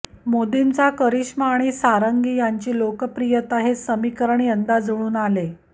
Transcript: मोदींचा करिष्मा आणि सारंगी यांची लोकप्रियता हे समीकरण यंदा जुळून आले